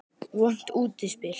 Vont útspil.